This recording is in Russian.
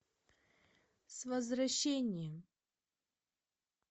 с возвращением